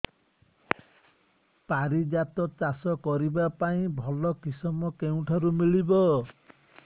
ପାରିଜାତ ଚାଷ କରିବା ପାଇଁ ଭଲ କିଶମ କେଉଁଠାରୁ ମିଳିବ